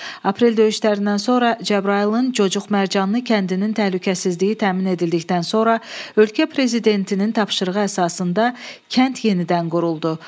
Aprel döyüşlərindən sonra Cəbrayılın Cocuq Mərcanlı kəndinin təhlükəsizliyi təmin edildikdən sonra ölkə prezidentinin tapşırığı əsasında kənd yenidən quruldu.